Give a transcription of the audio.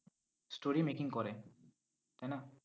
story making করে, তাই না?